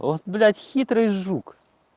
от блять хитрый жук